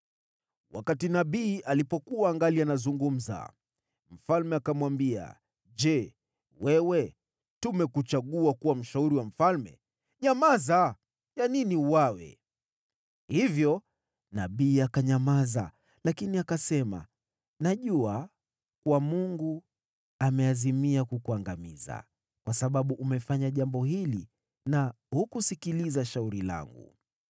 Wakati nabii alipokuwa angali anazungumza, mfalme akamwambia, “Je, wewe tumekuchagua kuwa mshauri wa mfalme? Nyamaza, ya nini uuawe?” Hivyo nabii akanyamaza lakini akasema, “Najua kuwa Mungu ameazimia kukuangamiza kwa sababu umefanya jambo hili na hukusikiliza shauri langu.”